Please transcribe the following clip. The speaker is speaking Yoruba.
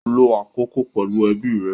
Lo akoko pẹlu ẹbi rẹ.